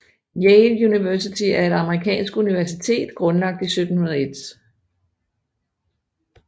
Yale University er et amerikansk universitet grundlagt i 1701